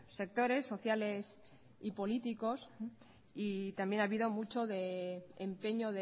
sectores sociales y políticos y también ha habido mucho de empeño